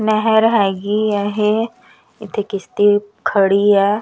ਨਹਰ ਹੈਗੀ ਹੈ ਇਹ ਇੱਥੇ ਕਿਸ਼ਤੀ ਖੜੀ ਹੈ।